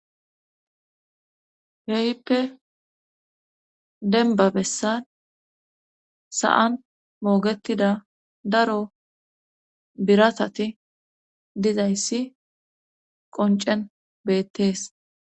Heyippe denba bessan sa'an moogetida daro biratati dizayssi qoncen beettees.